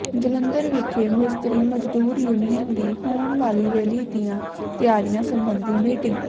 ਜਲੰਧਰ ਵਿਖੇ ਮਿਸਤਰੀ ਮਜ਼ਦੂਰ ਯੂਨੀਅਨ ਦੀ ਹੋਣ ਵਾਲੀ ਰੈਲੀ ਦੀਆਂ ਤਿਆਰੀਆਂ ਸਬੰਧੀ ਮੀਟਿੰਗ